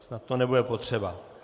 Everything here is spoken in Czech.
Snad to nebude potřeba.